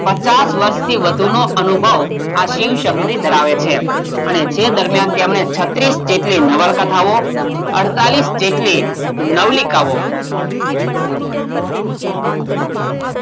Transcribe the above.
પચાસ વર્ષથી વધુનો અનુભવ આ શિવ -શંકરી ધરાવે છે અને તે દરમિયાન તેમણે છત્રીસ જેટલી નવલકથાઓ અડતાળીશ જેટલી નવલિકાઓ